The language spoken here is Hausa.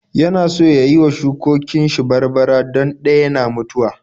Yana so ya yi wa shukokin shi barbara don ɗaya na mutuwa.